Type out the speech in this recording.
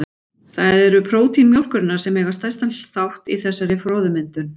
Það eru prótín mjólkurinnar sem eiga stærstan þátt í þessari froðumyndun.